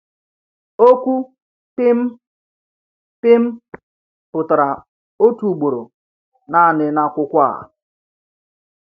Okwu “pim” “pim” pụtara otu ugboro naanị n’akwụkwọ a.